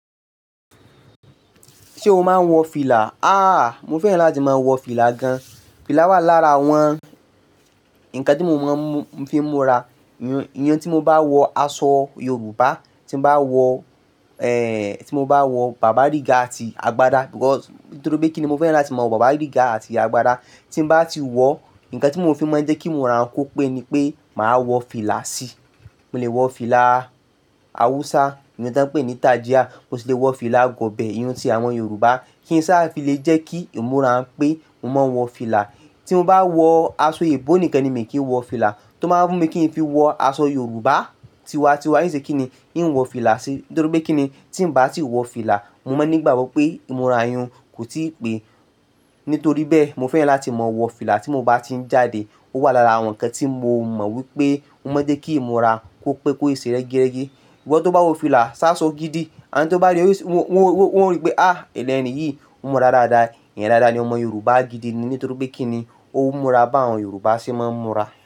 Ṣé o máa ń wọ fìlà? À, mo fẹ́ràn láti máa wọ fìlà gan. Fìlà wà lára àwọn nǹkan tí mo mọ̀ fi ń múra. Iyán tí mo bá wọ aṣọ Yorùbá, tí mo bá wọ, ẹ, tí mo bá wọ bàbá ríga àti agbádá, because nítorí pé kíni mo fẹ́ràn láti mọ bàbá ríga àti ìyá agbádá. Tí mo bá ti wọ, nǹkan tí mo fi mọ̀ jẹ́ kí ń múra kó pé ni pé màá wọ fìlà sí i. Mo lè wọ fìlà Hausa, ìyẹn tí wọ́n ń pè ní tàjíyà, mo sì lè wọ fìlà agọ̀bẹ́, iyán ti àwọn Yorùbá kí n sá filé jẹ́ kí ń múra pé mò ń wọ fìlà. Tí mo bá wọ aṣọ ebo nìkan ni mi kì n wọ fìlà. Tó máa fún mi kí n fi wọ aṣọ Yorùbá tiwa-tiwa, í ṣe kí ni, i n wọ fìlà sí i. Nítorí pé kí ni, tí mo bá ti wọ fìlà, mo máa ní ìgbàgbọ́ pé ì múra iyun kò tí ì pé. Nítorí bẹ́ẹ̀, mo fẹ́ràn láti mọ wọ fìlà tí mo bá ti ń jáde. Ó wà lára àwọn nǹkan tí mo mọ̀ wípé ó máa ń jẹ́ kí imúra kó pé kó ṣe rẹ́gírẹ́gi. Bí wọ́n tó bá wo fìlà, sáṣọ gidi, ẹni tí ó bá ríi, wọ́n ó rí pé à, ẹlẹ́ni yìí, ó mọra dáadáa. Èèyàn dáadáa ni ọmọ Yorùbá gidi ni. Nítorí pé kí ni, ó múra bí àwọn Yorùbá ṣe máa ń múra.